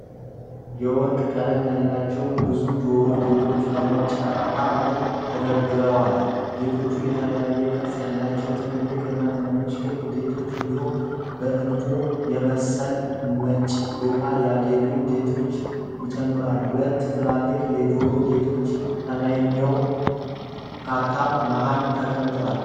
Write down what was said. የወርቅ ቀለም ያላቸው ብዙ የጆሮ ጌጦች በነጭ ካርቶን ላይ ተደርድረዋል፡፡ ጌጦቹ የተለያዩ ቅርፅ ያላቸው ትልልቅ እና ትንንሽ ክብ ጌጦች፣ እንዲሁም በዕንቁ የመሰለ ነጭ ዶቃ ያጌጡ ጌጦችን ይጨምራሉ። ሁለት ትላልቅ የጆሮ ጌጦች ከላይኛው ካርቶን መሃል ተቀምጠዋል፡፡